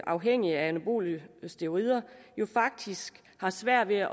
afhængige af anabole steroider faktisk har svært ved at